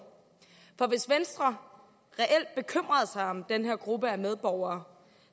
for hvis venstre reelt bekymrede sig om den her gruppe af medborgere